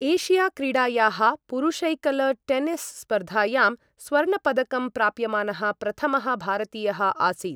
Asia क्रीडायाः पुरुषैकल tennis स्पर्धायां स्वर्णपदकं प्राप्यमानः प्रथमः भारतीयः आसीत्।